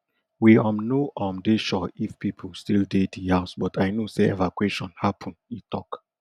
we um no um dey sure if pipo still dey di house but i know say evacuation happun e tok